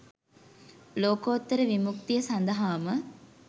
ලෝකෝත්තර විමුක්තිය සඳහාම